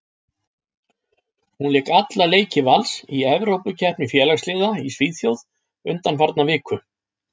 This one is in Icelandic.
Hún lék alla leiki Vals í Evrópukeppni félagsliða í Svíþjóð undanfarna viku.